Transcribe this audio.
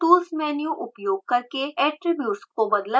tools menu उपयोग करके attributes को बदला जा सकता है